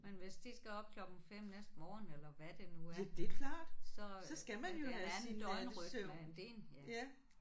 Men hvis de skal op klokken 5 næste morgen eller hvad det nu er så øh men det er en anden døgnrytme end din ja